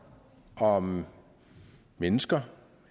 om mennesker